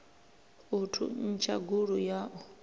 u thuntsha gulu ya u